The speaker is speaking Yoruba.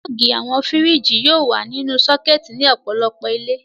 Pulọ́ọ́gì àwọn fíríjì yóò wà nínú sọ́kẹ́tì ní ọ̀pọ̀lọpọ̀ ilé.